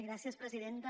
gràcies presidenta